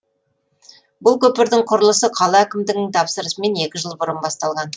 бұл көпірдің құрылысы қала әкімдігінің тапсырысымен екі жыл бұрын басталған